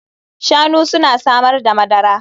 Shanu suna samar da madara